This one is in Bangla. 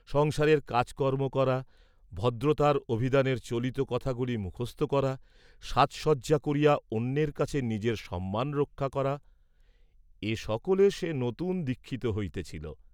সংসারের কাজকর্ম্ম করা, ভদ্রতার অভিধানের চলিত কথাগুলি মুখস্থ করা, সাজসজ্জা করিয়া অন্যের কাছে নিজের সম্মান রক্ষা করা, এ সকলে সে নূতন দীক্ষিত হইতেছিল।